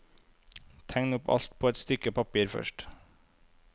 Tegn opp alt på et stykke papir først.